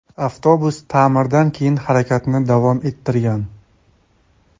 Avtobus ta’mirdan keyin harakatni davom ettirgan.